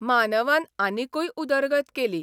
मानवान आनिकूय उदरगत केली.